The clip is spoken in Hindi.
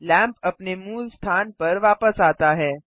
लैंप अपने मूल स्थान पर वापस आता है